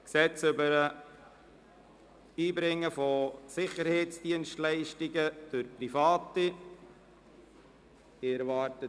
«Gesetz über das Erbringen von Sicherheitsdienstleistungen durch Private […]».